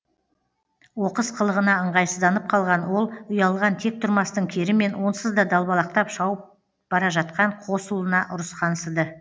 оқыс қылығына ыңғайсызданып қалған ол ұялған тек тұрмастың керімен онсызда далбалақтап шауып бара жатқан қос ұлына ұрысқансыды